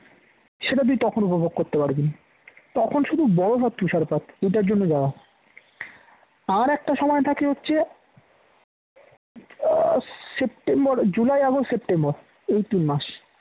সেটা তুই তখন উপভোগ করতে পারবি না তখন শুধু বরফ আর তুষারপাত এটার জন্য যাওয়া আর একটা সময় থাকে হচ্ছে সেপ্টেম্বর জুলাই আগস্ট সেপ্টেম্বর এই তিন মাস